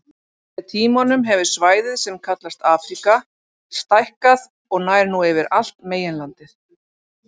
Með tímanum hefur svæðið sem kallast Afríka stækkað og nær nú yfir allt meginlandið.